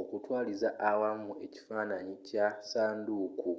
okutwaliza awamu ekifaananyi kya ssanduuku